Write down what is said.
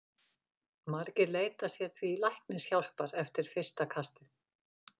Margir leita sér því læknishjálpar eftir fyrsta kast.